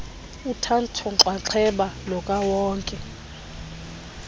uthatho nxaxheba lukawonke